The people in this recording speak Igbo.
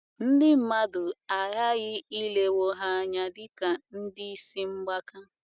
Ndị mmadụ aghaghị ilewo ha anya dị ka ndị isi mgbaka.